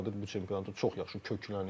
Və Real Madrid bu çempionata çox yaxşı köklənib.